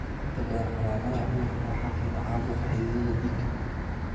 Inta badan calaamadaha cudurka waxaa keena caabuqa xididdada dhiigga.